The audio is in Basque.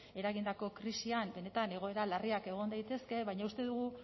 eragindako krisian benetan egoera larriak egon daitezke baina uste dugu